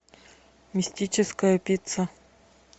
мистическая пицца